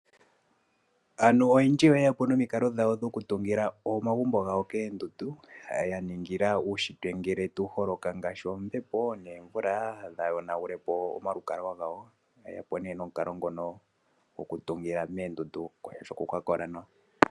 Aantu oyemdji oyeyq po nomikalo dhawo okutungila omagumbo gawo koondundu ya ningila uushitwe ngele tawu holoka tutye nege omvula nenge ombepo omagumbo gawo kaaga yonagulwe po. Oyeya po nee nomukalonngono gokutungila moondundu oshoka okwa kola mawa.